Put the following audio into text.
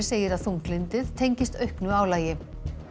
segir að þunglyndið tengist auknu álagi